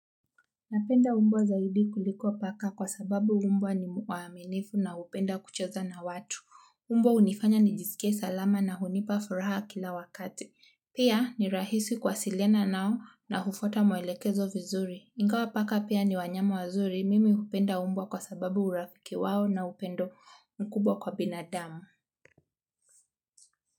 Napenda mbwa zaidi kuliko paka kwa sababu mbwa ni muaminifu na hupenda kucheza na watu. Mbwa hunifanya nijisike salama na hunipa furaha kila wakati. Pia ni rahisi kuwasiliana nao na hufuata maelekezo vizuri. Ingawa paka pia ni wanyama wazuri mimi hupenda mbwa kwa sababu urafiki wao na upendo mkubwa kwa binadamu.